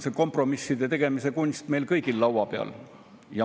See kompromisside tegemise kunst on meil siin kõigil laua peal.